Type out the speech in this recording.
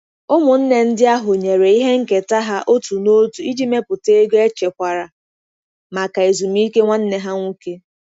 Ụmụnne ndị ahụ nyere ihe nketa ha otu n'otu iji mepụta ego echekwara maka ezumike nwanne ha nwoke.